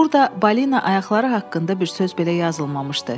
Burda balina ayaqları haqqında bir söz belə yazılmamışdı.